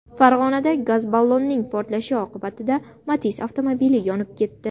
Farg‘onada gaz ballonning portlashi oqibatida Matiz avtomobili yonib ketdi.